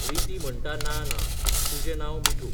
रिती म्हणटा ना ना, तुजें नांव मिठू.